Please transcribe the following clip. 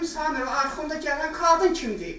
Dedim Samir, arxanda gələn qadın kimdir?